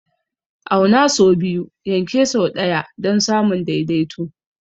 Auna sau biyu, yanke sau ɗaya don samun daidaito.